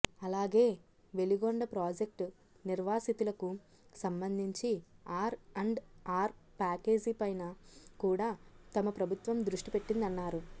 అలాగే వెలిగొండ ప్రాజెక్టు నిర్వాసితులకు సంబంధించి ఆర్ అండ్ ఆర్ ప్యాకేజీ పైన కూడా తమ ప్రభుత్వం దృష్టి పెట్టిందన్నారు